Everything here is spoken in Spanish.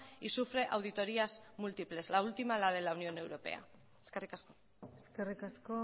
y sufre auditorias múltiples la última la de la unión europea eskerrik asko eskerrik asko